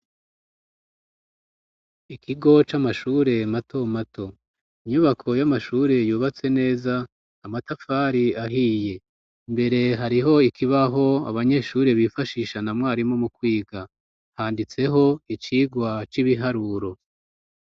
Ikigo c'amashure matomato. Inyubako y'amashure yubatse neza, amatafari ahiye. Imbere hariho ikibaho abanyeshure bifashisha na mwarimu mu kwiga, handitseho icigwa c'ibiharuro.